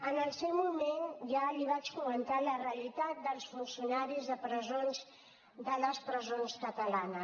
en el seu moment ja li vaig comentar la realitat dels funcionaris de presons de les presons catalanes